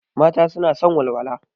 Mata suna son walwala.